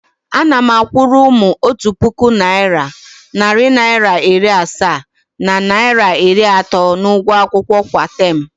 Ana m akwụrụ ụmụ otu puku naịra, narị naịra iri asaa na naịra iri atọ n’ụgwọ akwụkwọ kwa taam.